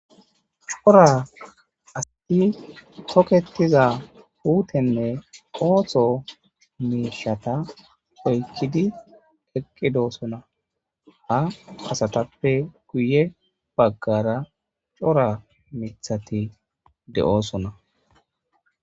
cora asti toketiza huutenne qootho miishata oykkidi eqqidoosona ha asatappe guye baggara cora mithati de7osona